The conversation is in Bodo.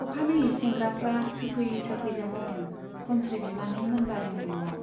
अखानायै सेंग्राफ्रा सोफै सोफै जाफैदों खनस्री बिमानै मोनबारीनि न'आव।